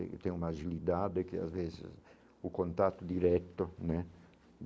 Eu tenho uma agilidade, que às vezes o contato direto, né?